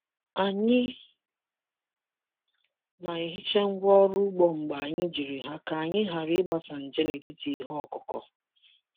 Anyị na-ehicha ngwa ọrụ ugbo mgbe anyị jiri ha ka anyị ghara ịgbasa nje n’etiti ihe ọkụkụ.